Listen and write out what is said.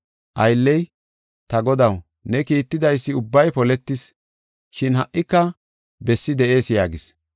“Aylley, ‘Ta godaw, ne kiittidaysi ubbay poletis, shin ha77ika bessi de7ees’ yaagis.